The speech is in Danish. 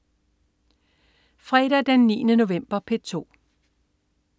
Fredag den 9. november - P2: